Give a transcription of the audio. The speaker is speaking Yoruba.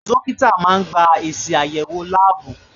Dókítà máa gba èsì àyẹ̀wò láàbù.